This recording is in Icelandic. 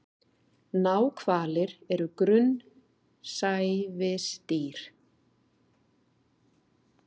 Náhvalir er grunnsævisdýr.